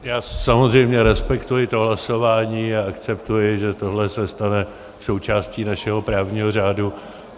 Já samozřejmě respektuji to hlasování a akceptuji, že tohle se stane součástí našeho právního řádu.